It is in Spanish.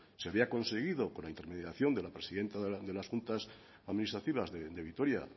se había conseguido con intermediación de la presidenta de las juntas administrativas de vitoria